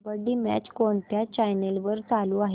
kabaddi match कोणत्या channel वर चालू आहे